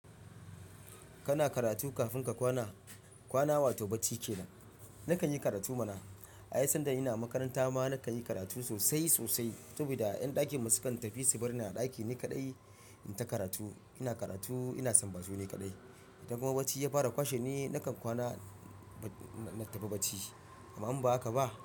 Kana karatu kafin ka kwana, kwana wato bacci kenan. Nakan yi karatu mana. Ai sanda ina makaranta ma na kan yi karatu sosai sosai saboda ƴan ɗakin masu kan tafi su bar ni a ɗaki ni kaɗai in ta karatu. Ina karatu, ina san batu ni kaɗai. Idan kuma bacci ya fara kwashe ni, nakan kwana, na tafi bacci. Amma in ba haka ba.